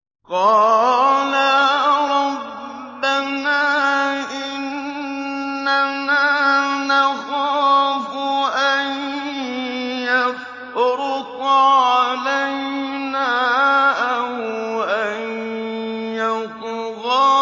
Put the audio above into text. قَالَا رَبَّنَا إِنَّنَا نَخَافُ أَن يَفْرُطَ عَلَيْنَا أَوْ أَن يَطْغَىٰ